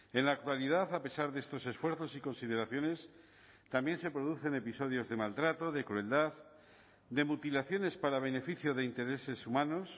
en la actualidad a pesar de estos esfuerzos y consideraciones también se producen episodios de maltrato de crueldad de mutilaciones para beneficio de intereses humanos